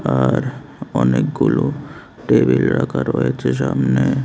আর অনেকগুলো টেবিল রাখা রয়েছে সামনে।